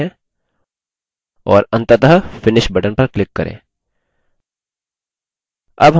और अंततः finish button पर click करें